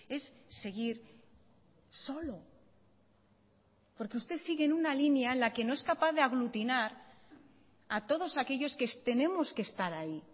es seguir solo porque usted sigue en una línea en la que no es capaz de aglutinar a todos aquellos que tenemos que estar ahí